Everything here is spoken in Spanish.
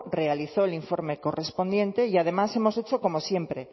realizó el informe correspondiente y además hemos hecho como siempre